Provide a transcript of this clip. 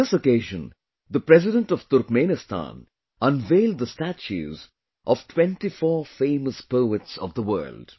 On this occasion, the President of Turkmenistan unveiled the statues of 24 famous poets of the world